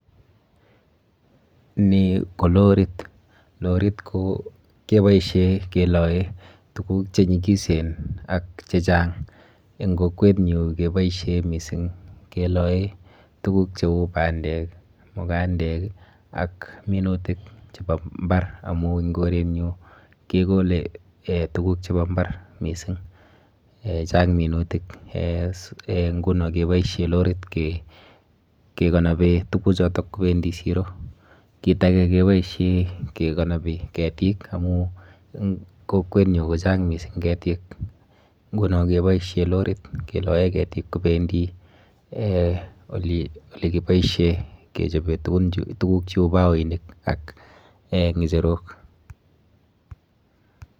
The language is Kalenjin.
Ni ko lorit. Lorit ko keboishe keloe tuguk chenyikisen ak chechang. Eng kokwenyu keboishe mising keloe tuguk cheu bandek, mukandek ak minutik chepo mbar amu eng korenyu kekole eh tuguk chepo mbar mising. Chang minutik nguno keboishe lorit kekonobee tukuchoto kobendi siro. Kit ake keboishe kekonopi ketik amu eng kokwenyo kochang mising ketik nguno keboishe lorit keloe ketik kobendi olekiboishe kechope tuguk cheu baoinik ak ng'echerok.